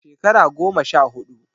A shekara goma sha huɗu.